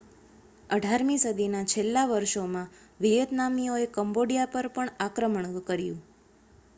18મી સદીના છેલ્લાં વર્ષોમાં વિયેતનામીઓએ કમ્બોડિયા પર પણ આક્રમણ કર્યું